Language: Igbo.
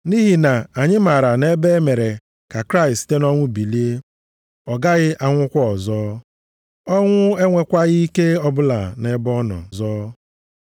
Nʼihi na anyị maara na ebe e mere ka Kraịst site nʼọnwụ bilie, ọ gaghị anwụkwa ọzọ. Ọnwụ enwekwaghị ike ọbụla nʼebe ọ nọ ọzọ.